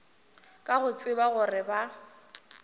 ka go tseba gore ba